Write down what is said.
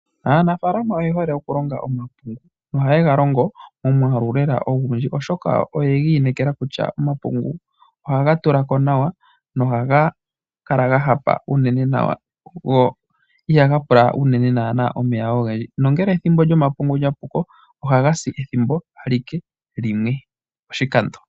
Aanafaalama oye hole okulonga omapungu nohaye ga longo omwaalu lela ogundji, oshoka oye ga inekela kutya omapungu ohaga tula ko nawa nohaga kala ga hapa go igaha pula nana unene omeya ogendji nongele ethimbo lyomapungu lya puko ohaga si ethimbo limwe alike poshikando.